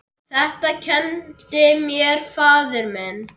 Þetta kenndi mér faðir minn.